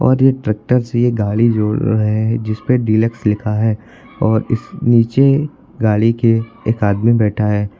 और ये ट्रैक्टर से गाड़ी जोड़ रहे हैं जिसपे डिलक्स लिखा है और इस नीचे गाड़ी के एक आदमी बैठा है।